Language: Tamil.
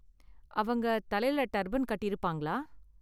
அவங்க தலைல டர்பன் கட்டியிருப்பாங்களா?